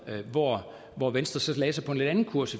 hvor hvor venstre så lagde sig på en lidt anden kurs